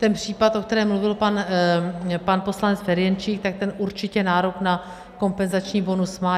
Ten případ, o kterém mluvil pan poslanec Ferjenčík, tak ten určitě nárok na kompenzační bonus má.